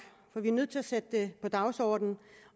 for vi er nødt til at sætte det på dagsordenen